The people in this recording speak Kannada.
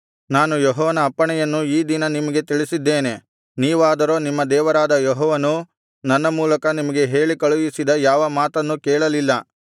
ನಾನು ಯೆಹೋವನ ಅಪ್ಪಣೆಯನ್ನು ಈ ದಿನ ನಿಮಗೆ ತಿಳಿಸಿದ್ದೇನೆ ನೀವಾದರೆ ನಿಮ್ಮ ದೇವರಾದ ಯೆಹೋವನು ನನ್ನ ಮೂಲಕ ನಿಮಗೆ ಹೇಳಿ ಕಳುಹಿಸಿದ ಯಾವ ಮಾತನ್ನೂ ಕೇಳಲಿಲ್ಲ